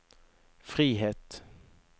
frihet